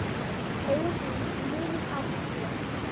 Augun þín munum áfram hér.